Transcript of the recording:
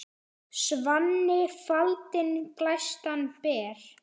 Svanni faldinn glæstan ber.